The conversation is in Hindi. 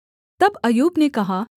तब अय्यूब ने कहा